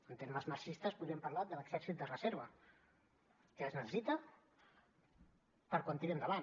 en termes marxistes podríem parlar de l’exèrcit de reserva que es necessita per a quan tiri endavant